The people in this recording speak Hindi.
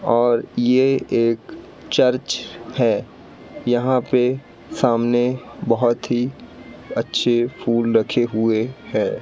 और ये एक चर्च है यहां के सामने बहोत ही अच्छे फूल रखे हुए हैं।